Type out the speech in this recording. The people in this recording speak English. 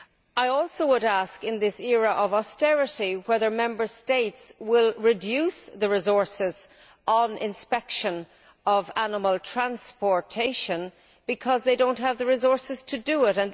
I also would ask, in this era of austerity, whether the Member States will reduce the resources on inspection of animal transportation because they do not have the resources to do it.